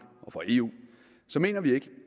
og for eu mener vi ikke